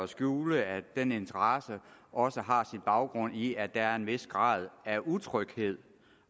skjule at denne interesse også har sin baggrund i at der er en vis grad af utryghed